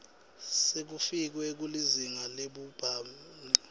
sekufikiwe kulizinga labhubhane